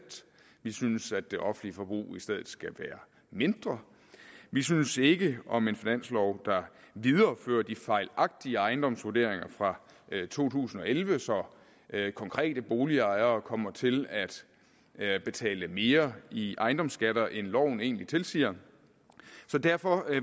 vi synes at det offentlige forbrug i stedet skal være mindre vi synes ikke om en finanslov der viderefører de fejlagtige ejendomsvurderinger fra to tusind og elleve så konkrete boligejere kommer til at betale mere i ejendomsskatter end loven egentlig tilsiger så derfor